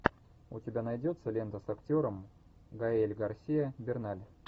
у тебя найдется лента с актером гаэль гарсиа берналь